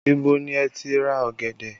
Ibo ni ẹ ti ra ọ̀gẹ̀dẹ̀?